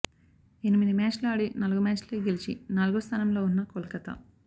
ఎనిమిది మ్యాచ్లు ఆడి నాలుగు మ్యాచ్లే గెలిచి నాల్గో స్థానంలో ఉన్న కోల్కతా